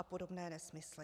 A podobné nesmysly.